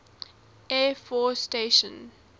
air force station